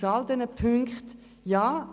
Aus all diesen Punkten folgt: